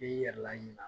I yɛrɛ laɲina